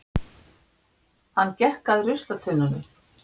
Hann gekk að ruslatunnunum.